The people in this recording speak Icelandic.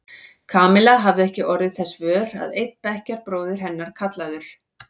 Kamilla hafði ekki orðið þess vör að einn bekkjarbróðir hennar, kallaður